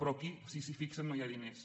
però aquí si s’hi fixen no hi ha diners